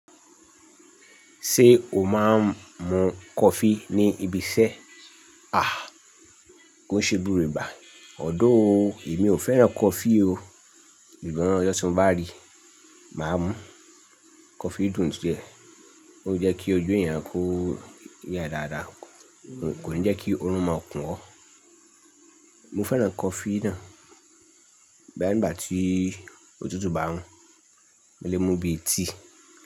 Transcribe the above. Ṣé o máa ń mu coffee ní ibi iṣẹ́? Àh, kó n ṣe búre bà. Ọ̀dọ́ o, èmi ò fẹ́ràn coffee o. Ṣùgbọ́n ọjọ́ tí mo bá rí, màá mu coffee dún díẹ̀. Ó jẹ́ kí ojú èèyàn kó yá dáadáa, kò ní jẹ́ kí oorun máa kún ọ. Mo fẹ́ràn coffee náà, bẹ́ẹ̀ ngbà tí òtútù bá mu, mo lè mu bíi tea.